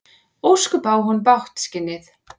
Ósköp á hún bágt, skinnið.